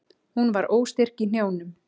Hún varð óstyrk í hnjánum.